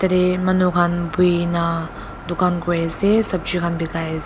yete manu kan buina dukan kuri ase sobji kan bikai ase.